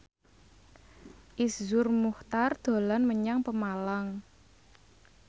Iszur Muchtar dolan menyang Pemalang